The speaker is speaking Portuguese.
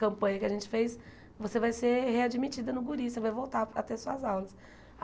campanha que a gente fez, você vai ser readmitida no Guri, você vai voltar a ter suas aulas.